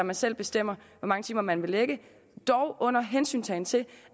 man selv bestemmer hvor mange timer man vil lægge dog under hensyntagen til